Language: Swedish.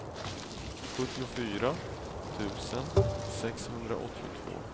sjuttiofyra tusen sexhundraåttiotvå